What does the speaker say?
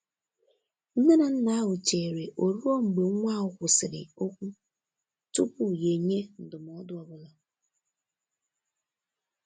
Nne na nna ahụ chere ọ ruo mgbe nwa ahụ kwụsịrị okwu tupu ya enye ndụmọdụ ọ bụla.